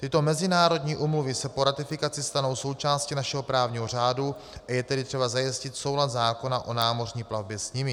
Tyto mezinárodní úmluvy se po ratifikaci stanou součástí našeho právního řádu, a je tedy třeba zajistit soulad zákona o námořní platbě s nimi.